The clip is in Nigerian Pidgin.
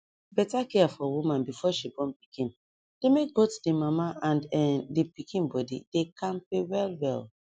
better care for woman before she born pikin dey make both the mama and[um]the pikin body dey kampe well well